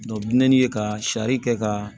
ye ka sari kɛ ka